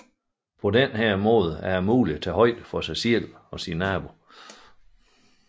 På denne måde er det muligt at tage højde for sig selv og naboen